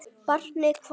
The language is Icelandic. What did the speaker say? Barnið hvarf.